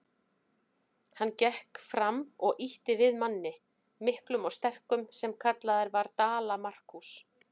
Hann gekk fram og ýtti við manni, miklum og sterkum, sem kallaður var Dala-Markús.